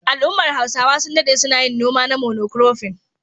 Al'ummar Hausawa sun daɗe suna yin noma na mono kurofin.